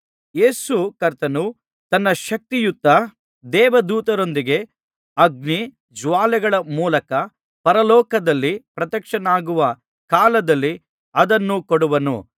ಯೇಸು ಕರ್ತನು ತನ್ನ ಶಕ್ತಿಯುತ ದೇವದೂತರೊಂದಿಗೆ ಅಗ್ನಿ ಜ್ವಾಲೆಗಳ ಮೂಲಕ ಪರಲೋಕದಿಂದ ಪ್ರತ್ಯಕ್ಷನಾಗುವ ಕಾಲದಲ್ಲಿ ಅದನ್ನು ಕೊಡುವನು